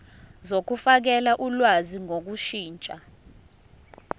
zokufakela ulwazi ngokushintsha